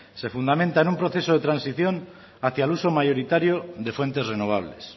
se fundamenta en un proceso de transición hacia el uso mayoritario de fuentes renovables